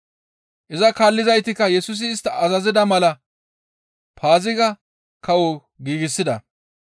Iza kaallizaytikka Yesusi istta azazida mala Paaziga kawo giigsida.